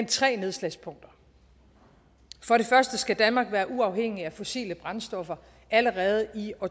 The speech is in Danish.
tre nedslagspunkter for det første skal danmark være uafhængig af fossile brændstoffer allerede i år